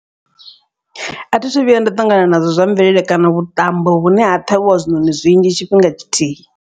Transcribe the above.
A thithu vhuya nda ṱangana nazwo zwa mvelele kana vhuṱambo vhune ha ṱhavhiwa zwiṋoni zwinzhi tshifhinga tshithihi.